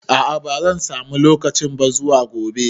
A'a bazan samu lokaci ba zuwa gobe